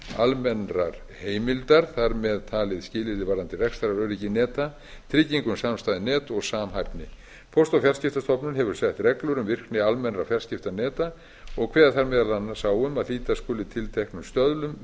almennrar heimildar þar með talið skilyrði varðandi rekstraröryggi neta tryggingu um samstæð net og samhæfni póst og fjarskiptastofnun hefur sett reglur um virkni almennra fjarskiptaneta og kveða þær meðal annars á um að hlíta skuli tilteknum stöðlum